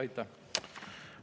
Aitäh!